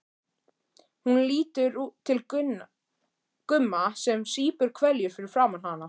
Hún lítur til Gumma sem sýpur hveljur fyrir framan hana.